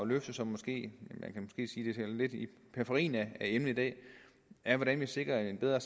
løfte som måske er lidt i periferien af emnet i dag er hvordan vi sikrer en bedre